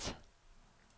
start